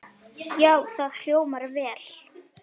Já, það hljómar vel.